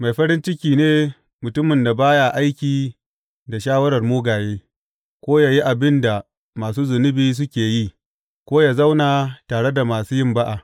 Mai farin ciki ne mutumin da ba ya aiki da shawarar mugaye ko yă yi abin da masu zunubi suke yi ko yă zauna tare da masu yin ba’a.